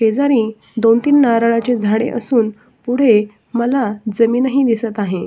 दोन तीन नारळाचे झाडे असून पुढे मला जमीन ही दिसत आहे.